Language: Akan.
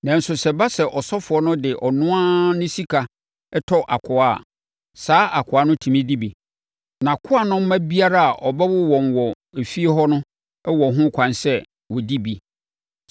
Nanso sɛ ɛba sɛ ɔsɔfoɔ no de ɔno ara ne sika tɔ akoa a, saa akoa no tumi di bi. Na akoa no mma biara a ɔbɛwo wɔn wɔ fie hɔ no wɔ ho kwan sɛ wɔdi bi.